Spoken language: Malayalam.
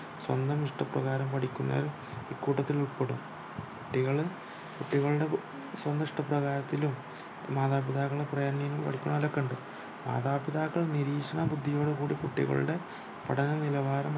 സ്വന്തം ഇഷ്ടപ്രകാരം പഠിക്കുന്നയൽ ഈ കൂട്ടത്തിൽ ഉൾപെടും കുട്ടികള് കുട്ടികളുടെ ഉം സ്വന്തം ഇഷ്ടപ്രകാരത്തിലും മാതാപിതാക്കളുടെ പ്രേരണയിൽ നിന്ന് പഠിക്കുന്നവരൊക്കെ ഉണ്ട് മാതാപിതാക്കൾ നിരീക്ഷണ ബുദ്ധിയോടുകൂടി കുട്ടികൾടെ പഠന നിലവാരം